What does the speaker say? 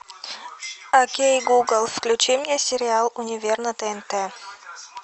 окей гугл включи мне сериал универ на тнт